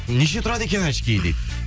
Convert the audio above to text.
неше тұрады екен очкиі дейді